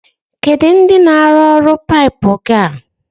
Kedu ndi na-arụrụ ọrụ paipu gi a?